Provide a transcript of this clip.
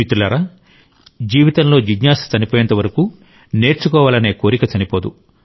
మిత్రులారా జీవితంలో జిజ్ఞాస చనిపోయేంత వరకు నేర్చుకోవాలనే కోరిక చనిపోదు